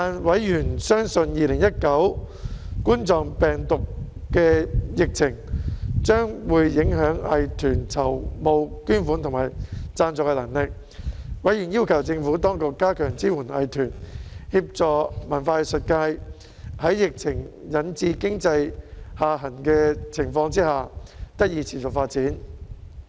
委員相信2019冠狀病毒病疫情將影響藝團籌募捐款和贊助的能力，因而要求政府當局加強支援藝團，協助文化藝術界在疫情引致經濟下行之際得以持續發展。